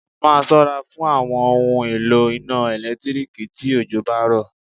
Máa ṣọ́ra fún àwọn ohun èlò iná ẹ̀lẹ́tíríkì tí òjò bá rọ̀.